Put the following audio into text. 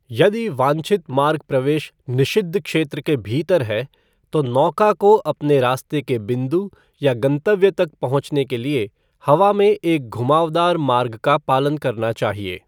यदि वांछित मार्ग प्रवेश निषिद्ध क्षेत्र के भीतर है, तो नौका को अपने रास्ते के बिंदु या गंतव्य तक पहुंचने के लिए हवा में एक घुमावदार मार्ग का पालन करना चाहिए।